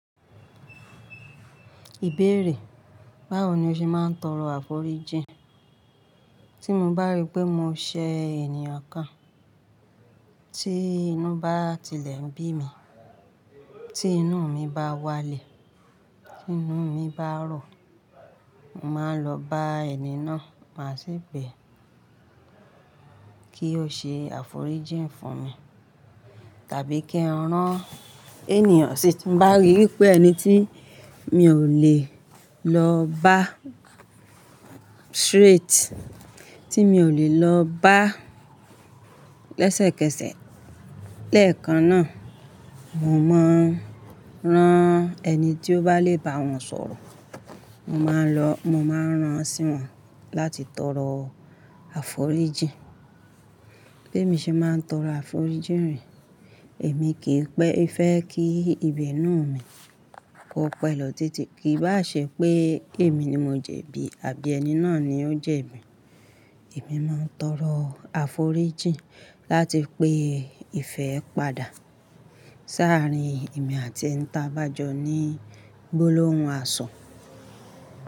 Ìbéèrè, báwo ni o ṣe máa ń tọrọ àforíjìn? Tí mo bá rí pé mo ṣẹ̀ ènìyàn kan, tí inú bá tilẹ̀ ń bí mi, tí inú mi bá wálẹ̀, tí inú mi bá rò, màá lọ bá ẹni náà, màá sì bẹ kí ó ṣe àforíjìn fún mi. Tàbí kí n rán eniyan si tí mo bá rí wípé ẹni tí mi ò lè lọ bá straight, tí mi ò lè lọ bá lẹ́sẹ̀kẹsẹ̀ lẹ́ẹ̀kan náà, mo máa ń rán ẹni tí ó bá le bá wọn sọ̀rọ̀, mo máa ń lọ, mo máa ń rán sí wọn láti tọrọ àforíjìn. Bí èmi ṣe máa ń tọrọ àforíjìn re, èmi kì í pẹ fẹ́ kí ibinú mi kó pẹ́ lọ títí, kì í bá ṣe pé èmi ni mo jẹ̀bi àbí ẹni náà ni ó jẹ̀bi. Èmi máa ń tọrọ àforíjìn láti pé ìfẹ́ padà sáàrín èmi àti ẹni tí a bá jọ ní gbólóhùn asọ.